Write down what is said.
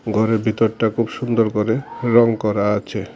গরের বিতরটা খুব সুন্দর করে রঙ করা আছে।